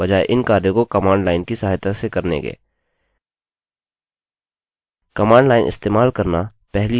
यह अपने डेटाबेस के इंटरफेस को शुरू करने के लिए एक अच्छा तरीका है बजाय इन कार्यों को कमांड लाइन की सहायता से करने के